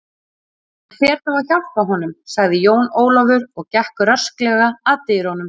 Ég fer þá að hjálpa honum, sagði Jón Ólafur og gekk rösklega að dyrunum.